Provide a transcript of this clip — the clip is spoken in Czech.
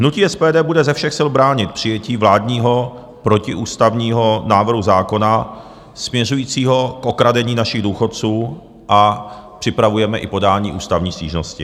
Hnutí SPD bude ze všech sil bránit přijetí vládního protiústavního návrhu zákona směřujícího k okradení našich důchodců a připravujeme i podání ústavní stížnosti.